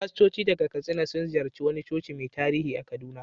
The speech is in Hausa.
Fastoci daga Katsina sun ziyarci wani coci mai tarihi a Kaduna.